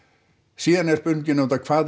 síðan er spurningin auðvitað hvað